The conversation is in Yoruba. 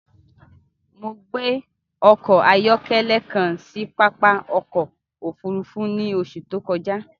Mọ̀ gbẹ ọkọ-ayọkẹlẹ kàn sì pápá ọkọ̀ òfurufú ni oṣù tó kọja